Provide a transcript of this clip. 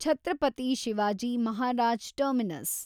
Chhatrapati Shivaji Maharaj terminus